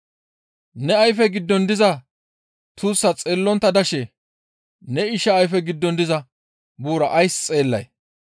«Ne ayfe giddon diza tuussaa xeellontta dashe ne isha ayfe giddon diza buuraa ays xeellay?